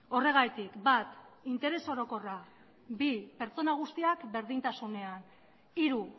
horregatik bat interes orokorra bi pertsona guztiak berdintasunean hiru